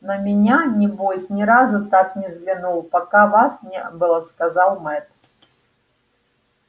на меня небось ни разу так не взглянул пока вас не было сказал мэтт